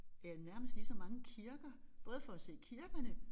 Ja nærmest lige så mange kirke både for at se kirkerne